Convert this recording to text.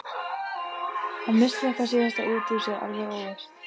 Hann missti þetta síðasta út úr sér alveg óvart.